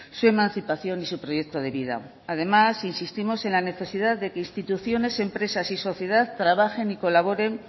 su emancipación y su proyecto de vida además insistimos en la necesidad de que instituciones empresas y sociedad trabajen y colaboren